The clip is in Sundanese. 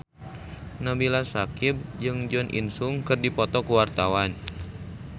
Nabila Syakieb jeung Jo In Sung keur dipoto ku wartawan